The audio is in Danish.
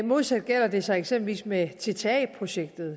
modsat gælder det så eksempelvis med tta projektet